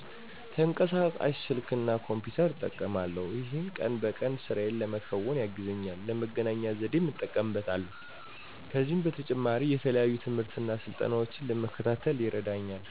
ተንቀሳቃሽ ስልክ እና ኮምፒተር እጠቀማለሁ። ይሄም ቀን በቀን ስራየን ለመከወን ያግዘኛል፣ ለመገናኛ ዘዴም እጠቀምበታለሁ። ከዚህም በተጨማሪ የተለያዩ ትምህርትና ስልጠናዎችን ለመከታተል ይረዳኛል።